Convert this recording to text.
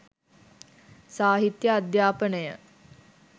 සාහිත්‍යය අධ්‍යාපනය